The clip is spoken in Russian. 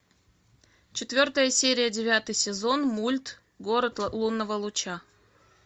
четвертая серия девятый сезон мульт город лунного луча